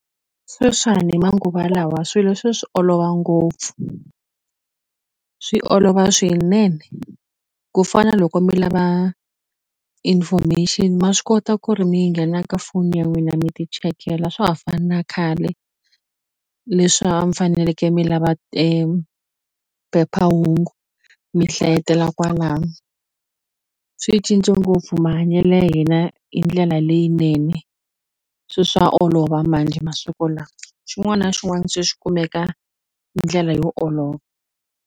Sweswiwani manguva lawa swilo se swi olova ngopfu swi olova swinene ku fana loko mi lava information ma swi kota ku ri mi nghena ka foni ya n'wina mi ti chekela a swa ha fani na khale leswi a mi faneleke mi lava phephahungu mi hlayetela kwalano swi cince ngopfu mahanyelo ya hina hindlela leyinene se swa olova manjhe masiku lawa xin'wana xin'wana se xi kumeka hi ndlela yo olova.